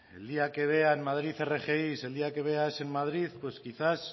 el día que vea en madrid rgi el día que vea aes en madrid pues quizá